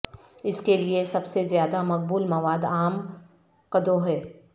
اس کے لئے سب سے زیادہ مقبول مواد عام قددو ہے